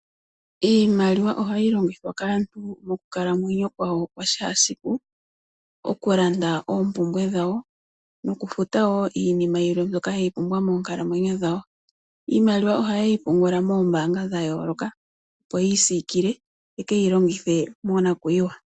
Iimaliwa ohayi longithwa kaantu mokukalamwenyo kwa wo kwa kehe esiku . Okulanda oompumbwe dhawo noku futa woo iinima yilwe mbyoka ya pumbwa moonkalamwenyo dhawo. Iimaliwa oha ye yi pungula noombaanga dha yooloka opo ye pungule ye ke yi longithe monakwiiwa.